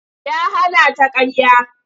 Ya hana ta ƙarya.